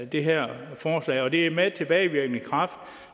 det her forslag det er med tilbagevirkende kraft